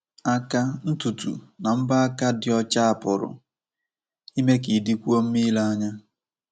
Aka, ntutu, na mbọ aka dị ọcha pụrụ ime ka ị dịkwuo mma ile anya.